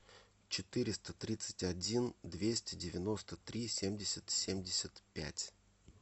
четыреста тридцать один двести девяносто три семьдесят семьдесят пять